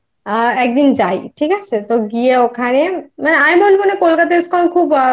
একদিন যাই ঠিক আছে। তো গিয়ে ওখানে মানে আমি বলব